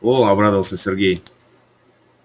о обрадовался сергей